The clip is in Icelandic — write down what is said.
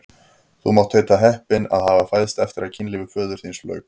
Þú mátt heita heppinn að hafa fæðst eftir að kynlífi föður þíns lauk!